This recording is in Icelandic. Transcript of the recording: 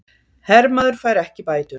Hermaður fær ekki bætur